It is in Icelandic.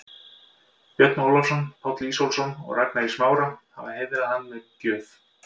Björn Ólafsson, Páll Ísólfsson og Ragnar í Smára, hafa heiðrað hann með gjöf.